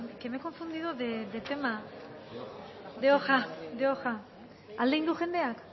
que me he confundido de tema de hoja alde egin du jendeak